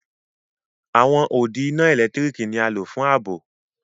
Awọn òdì iná èlẹ́tiríkì ni à lọ̀ fún ààbọ̀.